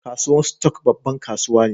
Kasuwan stock, babban kasuwa ne.